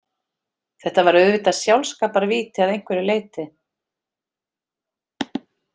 Þetta var auðvitað sjálfskaparvíti að einhverju leyti.